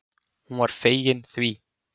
Hún var fegin því.